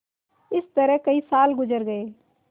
इस तरह कई साल गुजर गये